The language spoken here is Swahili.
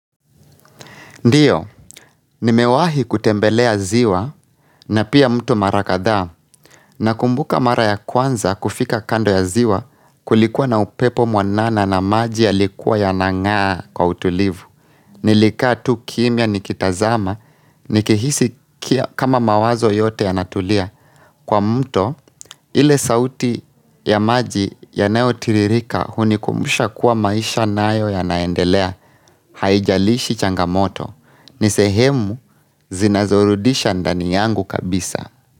Ndio, nimewahi kutembelea ziwa na pia mto mara kadhaa nakumbuka mara ya kwanza kufika kando ya ziwa kulikuwa na upepo mwanana na maji yalikuwa yanangaa kwa utulivu. Nilika tu kimya nikitazama nikihisi kama mawazo yote yanatulia kwa mto ile sauti ya maji yanayotiririka hunikumbusha kuwa maisha nayo yanaendelea haijalishi changamoto. Ni sehemu zinazorudisha ndani yangu kabisa.